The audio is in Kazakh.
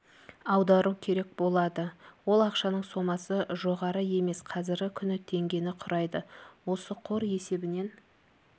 аудару керек болады ол ақшаның сомасы жоғары емес қазіргі күні теңгені құрайды осы қор есебінен